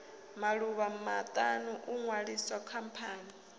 maḓuvha maṱanu u ṅwalisa khamphani